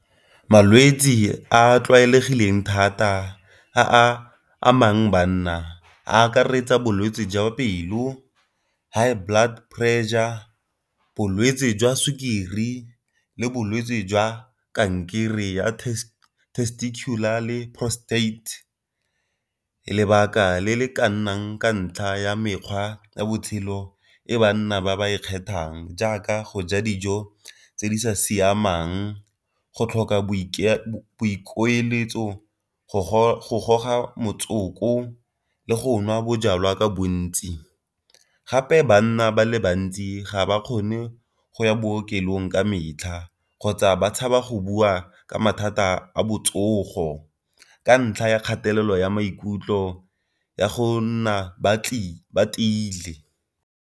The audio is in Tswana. Malwetsi a a tlwaelegileng thata a amang banna a akaretsa bolwetsi jwa pelo, high blood pressure, bolwetsi jwa sukiri, le bolwetsi jwa kankere ya testicular le prostate. Lebaka le le ka nnang ka ntlha ya mekgwa ya botshelo e banna ba e kgethang jaaka go ja dijo tse di sa siamang, go tlhoka boikueletso go goga motsoko le go nwa bojalwa ka bontsi. Gape bana ba le bantsi ga ba kgone go ya bookelong ka metlha kgotsa ba tshaba go bua ka mathata a botsogo. Ka ntlha ya kgatelelo ya maikutlo ya go nna ba teile.